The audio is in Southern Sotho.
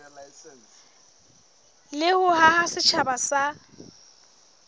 le ho haha setjhaba sa